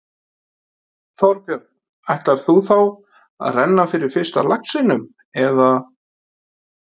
Þorbjörn: Ætlar þú þá að renna fyrir fyrsta laxinum, eða?